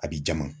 A b'i jama